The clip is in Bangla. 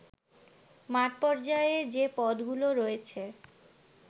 মাঠ পর্যায়ে যে পদগুলো রয়েছে